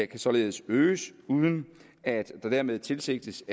kan således øges uden at der dermed tilsigtes